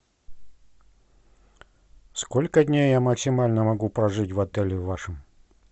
сколько дней я максимально могу прожить в отеле в вашем